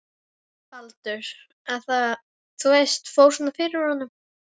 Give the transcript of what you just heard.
Baldur. að það, þú veist, fór svona fyrir honum.